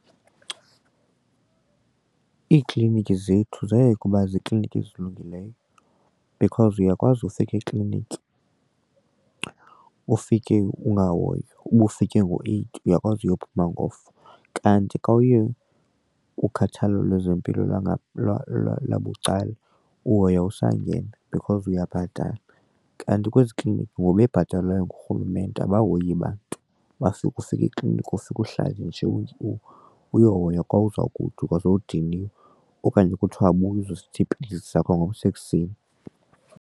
Iiklinikhi zethu zayeka uba ziikliniki ezilungileyo because uyakwazi ufika ekliniki ufike ukungahoywa, uba ufike ngo-eight uyakwazi uyophuma ngo-four kanti xa uye kukhathalelo lwezempilo lwabucala uhoywa usangena because uyabhatala kanti kwezi kliniki ngoba bebhatalwayo ngurhulumente abayihoyi bantu ufike ekliniki ufike uhlale nje umntu uyohoywa xa uzawugoduka sowudiniwe okanye kuthiwa buye uzowuthatha iipilisi zakho ngomso ekuseni.